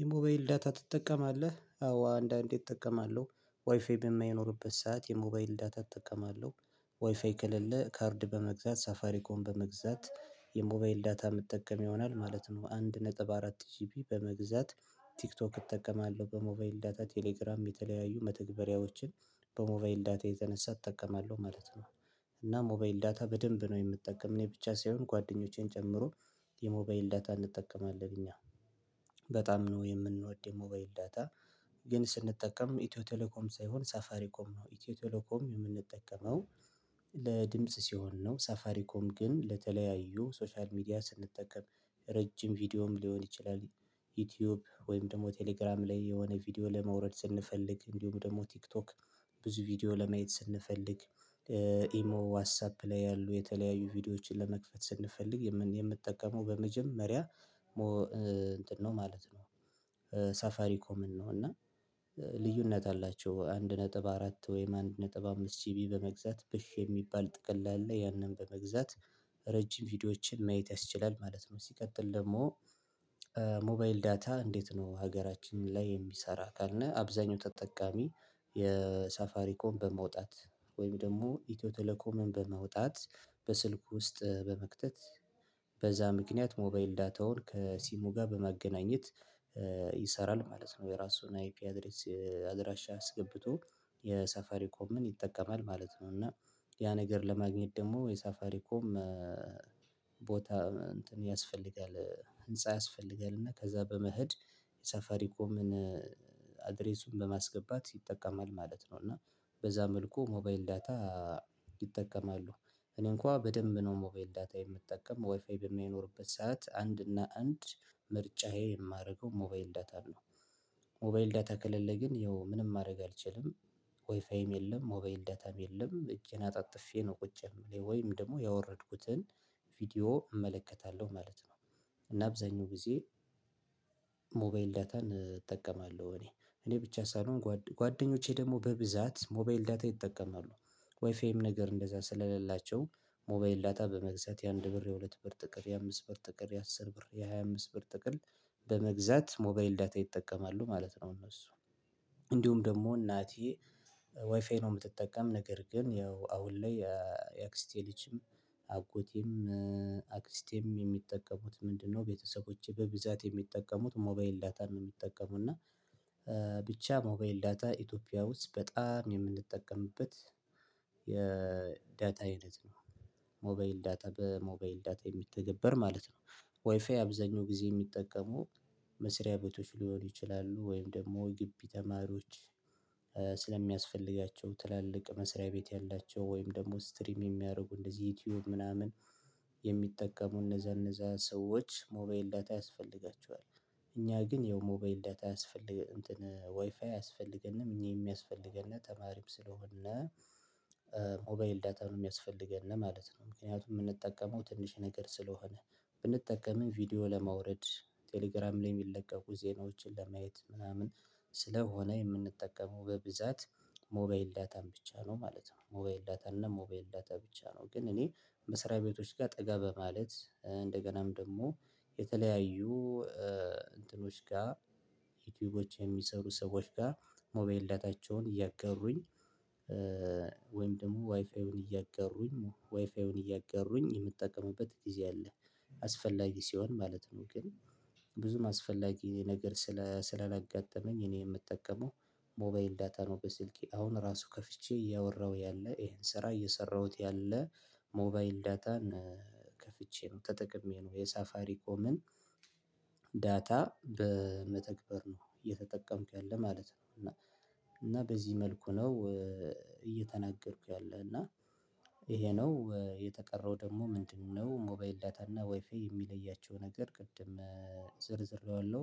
የሞባይል ዳታ ትጠቀማለህ? አዎ አንዳንዴ እጠቀማለሁ ዋይፋይ በማይኖርበት ሰዓት የሞባይል ዳታ እጠቀማለሁ ዋይፋይ ክልል ካርድ በመግዛት ሳፋሪ ኮም በመግዛት የሞባይል ዳታ የምጠቀም ይሆናል ማለት ነው አንድ ነጥብ አራት ጂፒ በመግዛት ቲክቶክ እጠቀማለሁ በሞባይል ዳታ ቴሌግራም የተለያዩ መተግበሪያዎችን በሞባይል ዳታ የተነሳ እጠቀማለሁ ማለት ነው እና ሞባይል ዳታ በደንብ ነው የምጠቀም እኔ ብቻ ሳይሆን ጓደኞቼን ጨምሮ የሞባይል ዳታ እንጠቀማለን እኛ በጣም ነው የምንወድ የሞባይል ዳታ ግን ስንጠቀም ኢትዮ ቴሌኮም ሳይሆን ሳፋሪ ኮም ነው ኢትዮ ቴሌኮም የምንጠቀመው ለድምጽ ሲሆን ነው ሳፋሪኮም ግን ለተለያዩ ሶሻል ሚዲያ ስንጠቀም ረጅም ቪዲዮም ሊሆን ይችላል ዩቲዩብ ወይም ደግሞ ቴሌግራም ላይ የሆነ ቪዲዮ ለመውረድ ስንፈልግ እንዲሁም ደግሞ ቲክቶክ ብዙ ቪዲዮ ለማየት ስንፈልግ ኢሞ ዋትሳፕ ላይ ያሉ የተለያዩ ቪዲዮዎችን ለመክፈት ስንፈልግ የምንጠቀመው በመጀመሪያ እንትን ነው ማለት ነው ሳፋሪ ኮምን ነው እና ልዩነት አላቸው አንድ ነጥብ አራት ወይም አንድ ነጥብ አምስት ጂቢ በመግዛት ብሽ የሚባል ጥቅል ላይ ያንን በመግዛት ረጅም ቪዲዮዎችን ማየት ያስችላል ማለት ነው ሲቀጥል ደግሞ ሞባይል ዳታ እንዴት ነው ሀገራችን ላይ የሚሰራ ካልነ አብዛኛው ተጠቃሚ የሳፋሪኮም በማውጣት ወይም ደግሞ ኢትዮ ቴሌኮምን በማውጣት በስልክ ውስጥ በመክተት በዛ ምክንያት ሞባይል ዳታውን ከሲሙ ጋር በማገናኘት ይሰራል ማለት ነው የራሱን አይፒ አድሬስ አድራሻ አስገብቶ የሳፋሪ ኮምን ይጠቀማል ማለት ነው እና ያ ነገር ለማግኘት ደግሞ የሳፋሪ ኮም ቦታ እንትን ያስፈልጋል ህንፃ ያስፈልጋል እና ከዛ በመሄድ የሳፋሪ ኮምን አድሬሱን በማስገባት ይጠቀማል ማለት ነው እና በዛ መልኩ ሞባይል ዳታ ይጠቀማሉ እኔ እንኳን በደንብ ነው ሞባይል ዳታ የምጠቀም ዋይፋይ በሚኖርበት ሰዓት አንድ እና አንድ ምርጫዬ የማደርገው ሞባይል ዳታ ነው ሞባይል ዳታ ከሌለ ግን ያው ምንም ማድረግ አልችልም ዋይፋይም የለም ሞባይል ዳታም የለም እጄን አጣጥፌ ነው ቁጭ የምለው ወይም ደግሞ ያወረድኩትን ቪዲዮ እመለከታለሁ ማለት ነው እና አብዛኛው ጊዜ ሞባይል ዳታን እጠቀማለሁ እኔ እኔ ብቻ ሳልሆን ጓደኞቼ ደግሞ በብዛት ሞባይል ዳታ ይጠቀማሉ ዋይፋይም ነገር እንደዛ ስለሌላቸው ሞባይል ዳታ በመግዛት የአንድ ብር የሁለት ብር ጥቅል የአምስት ብር ጥቅል የአስር ብር የሃያ አምስት ብር ጥቅል በመግዛት ሞባይል ዳታ ይጠቀማሉ ማለት ነው እነሱ እንዲሁም ደግሞ እናቴ ዋይፋይ ነው የምትጠቀም ነገር ግን ያው አሁን ላይ የአክስቴ ልጅም አጎቴም አክስቴም የሚጠቀሙት ምንድነው ቤተሰቦቼ በብዛት የሚጠቀሙት ሞባይል ዳታን ነው የሚጠቀሙት እና ብቻ ሞባይል ዳታ ኢትዮጵያ ውስጥ በጣም የምንጠቀምበት የዳታ አይነት ነው ሞባይል ዳታ በሞባይል ዳታ የሚተገበር ማለት ነው ዋይፋይ አብዛኛው ጊዜ የሚጠቀሙ መስሪያ ቤቶች ሊሆኑ ይችላሉ ወይም ደግሞ ግቢ ተማሪዎች ስለሚያስፈልጋቸው ትላልቅ መስሪያ ቤት ያላቸው ወይም ደግሞ ስትሪም የሚያደርጉ እንደዚህ ዩቲዩብ ምናምን የሚጠቀሙ እነዛ እነዛ ሰዎች ሞባይል ዳታ ያስፈልጋቸዋል እኛ ግን ይኸው ሞባይል ዳታ ያስፈልግ እንትን ዋይፋይ አያስፈልገንም እኛ የሚያስፈልገንነ ተማሪም ስለሆነ ሞባይል ዳታን የሚያስፈልገነ ማለት ነው ምክንያቱም የምንጠቀመው ትንሽ ነገር ስለሆነ ብንጠቀምም ቪዲዮ ለማውረድ ቴሌግራም ላይ የሚለቀቁ ዜናዎችን ለማየት ምናምን ስለሆነ የምንጠቀመው በብዛት ሞባይል ዳታን ብቻ ነው ማለት ነው ሞባይል ዳታ እና ሞባይል ዳታ ብቻ ነው ግን እኔ መስሪያ ቤቶች ጋር ጠጋ በማለት እንደገናም ደግሞ የተለያዩ እንትኖች ጋር ዩቲዩቦች የሚሰሩ ሰዎች ጋር ሞባይል ዳታቸውን እያገሩኝ ወይም ደግሞ ዋይፋዩን እያገሩኝ ዋይፋዩን እያገሩኝ የምጠቀምበት ጊዜ አለ አስፈላጊ ሲሆን ማለት ነው ግን ብዙም አስፈላጊ ነገር ስለ ስለለጋጠመኝ እኔ የምጠቀመው ሞባይል ዳታ ነው በስልኬ አሁን ራሱ ከፍቼ እያወራሁ ያለ ይሄን ስራ እየሰራሁት ያለ ሞባይል ዳታን ከፍቼ ነው ተጠቅሜ ነው የሳፋሪ ኮምን ዳታ በመተግበር ነው እየተጠቀምኩ ያለ ማለት ነው እና እና በዚህ መልኩ ነው እየተናገርኩ ያለ እና ይሄ ነው የተቀረው ደግሞ ምንድነው ሞባይል ዳታ እና ዋይፋይ የሚለያቸው ነገር ቅድም ዝርዝሬዋለሁ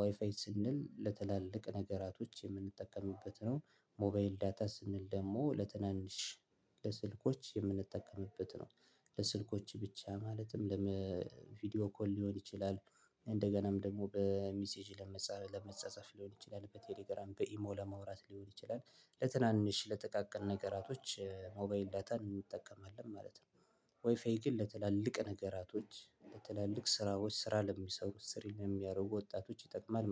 ዋይፋይ ስንል ለትላልቅ ነገራቶች የምንጠቀምበት ነው ሞባይል ዳታ ስንል ደግሞ ለትናንሽ ለስልኮች የምንጠቀምበት ነው ለስልኮች ብቻ ማለትም ለምን ቪዲዮ ኮል ሊሆን ይችላል እንደገናም ደግሞ በሚሴጅ ለመጻጸፍ ሊሆን ይችላል በቴሌግራም በኢሞ ለማውራት ሊሆን ይችላል ለትናንሽ ለተቃቀን ነገራቶች ሞባይል ዳታን እንጠቀማለን ማለት ነው ዋይፋይ ግን ለትላልቅ ነገራቶች ለትላልቅ ስራዎች ስራ ለሚሰሩት ስር የሚያደርጉ ወጣቶች ይጠቅማል